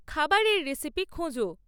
খাবারের রেসিপি খোঁজো